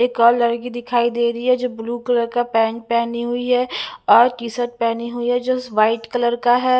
एक और लड़की दिखाई दे रही है जो ब्लू कलर का पैंट पेहनी हुई है और टी-शर्ट पेहनी हुई है जो वाइट कलर का है।